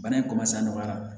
Bana in a nɔgɔyara